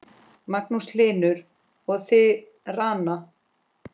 Magnús Hlynur: Og þið, Ranna?